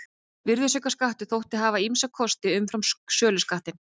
Virðisaukaskattur þótti hafa ýmsa kosti umfram söluskattinn.